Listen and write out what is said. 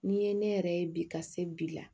N'i ye ne yɛrɛ ye bi ka se bi la